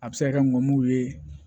A bɛ se ka kɛ n'u ye